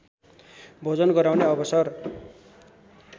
भोजन गराउने अवसर